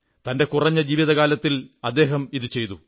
തന്റെ കുറഞ്ഞ ജീവിതകാലത്തിൽ അദ്ദേഹം ഇതു ചെയ്തു